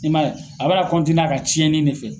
I man ye a bara a ka ciyɛnni in de fɛ.